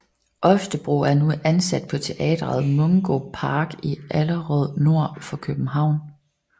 Oftebro er nu ansat på teatret Mungo Park i Allerød nord for København